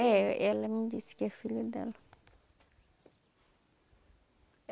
É, ela me disse que é filho dela.